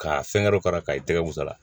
K'a fɛngɛ k'a i tɛgɛ musa